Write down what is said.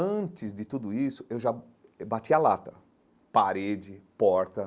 Antes de tudo isso, eu já bati a lata, parede, porta.